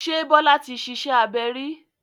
Ṣé Bọ́lá ti ṣiṣẹ́ abẹ rí?